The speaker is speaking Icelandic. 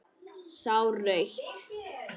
Sá rautt.